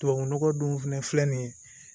Tubabunɔgɔ dun fɛnɛ filɛ nin ye